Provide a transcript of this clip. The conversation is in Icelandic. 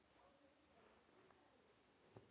Þín systir, Jenný Olga.